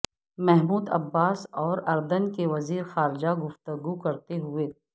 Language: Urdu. محمود عباس اور ارد ن کے وزیر خاجہ گفتگو کرتے ہوئے